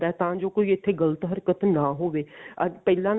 ਤਾਂ ਜੋ ਕੋਈ ਇੱਥੇ ਗਲਤ ਹਰਕਤ ਨਾ ਹੋਵੇ ਅਹ ਪਹਿਲਾਂ